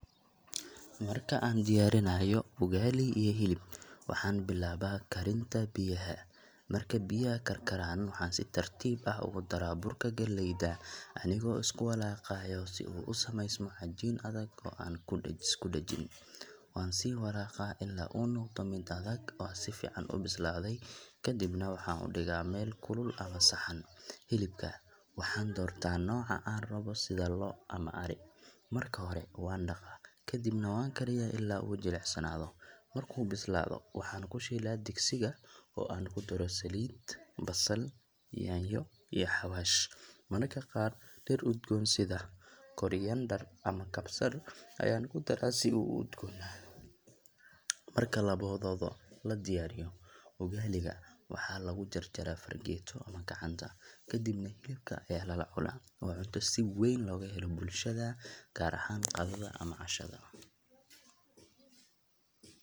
Marka aan diyaarinayo ugali iyo hilib, waxaan bilaabaa karinta biyaha. Marka biyaha karkaraan, waxaan si tartiib ah ugu daraa burka galleyda anigoo isku walaaqaya si uu u sameysmo cajiin adag oo aan isku dhajin. Waan sii walaaqaa ilaa uu noqdo mid adag oo si fiican u bislaaday, kadibna waxaan u dhigaa meel kulul ama saxan. Hilibka, waxaan doortaa nooca aan rabo sida lo’ ama ari. Marka hore waan dhaqaa, kadibna waan kariyaa ilaa uu jilicsanaado. Markuu bislaado, waxaan ku shiilaa digsiga oo aan ku daro saliid, basal, yaanyo, iyo xawaash. Mararka qaar dhir udgoon sida koriander ama kabsar ayaan ku daraa si uu u udgoonaado. Marka labadooda la diyaariyo, ugali ga waxaa lagu jarjaraa fargeeto ama gacanta, kadibna hilibka ayaa lala cunaa. Waa cunto si weyn looga helo bulshada, gaar ahaan qadada ama cashada.